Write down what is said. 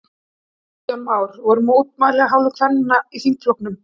Kristján Már: Voru mótmæli af hálfu kvenna í þingflokknum?